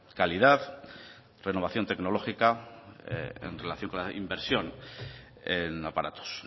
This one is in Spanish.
calidad renovación tecnológica en relación con la inversión en aparatos